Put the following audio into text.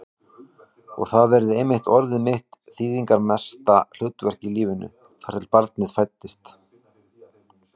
Og það hafði einmitt orðið mitt þýðingarmesta hlutverk í lífinu, þar til barnið fæddist.